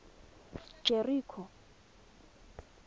jeriko